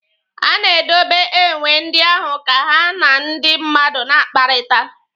A na-edobe enwe ndị ahụ ka ha na ndị mmadụ na-akpakọrịta.